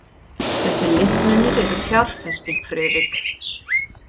Þessir listmunir eru fjárfesting, Friðrik.